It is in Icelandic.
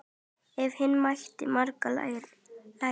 Af Hinna mátti margt læra.